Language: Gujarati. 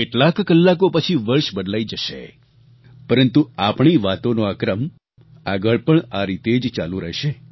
કેટલાક કલાકો પછી વર્ષ બદલાઈ જશે પરંતુ આપણી વાતોનો આ ક્રમ આગળ પણ આ રીતે જ ચાલુ રહેશે